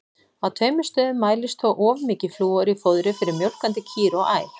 Á tveimur stöðum mælist þó of mikið flúor í fóðri fyrir mjólkandi kýr og ær.